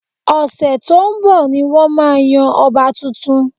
Ọ̀sẹ̀ tó ń bọ̀ ni wọ́n máa yan ọba tuntun